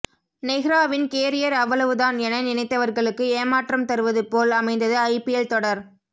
நெஹ்ராவின் career அவ்வளவு தான் என நினைத்தவர்களுக்கு ஏமாற்றம் தருவது போல் அமைந்தது ஐபிஎல் தொடர்